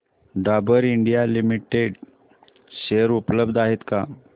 Dabur India limited share उपलब्ध आहेत का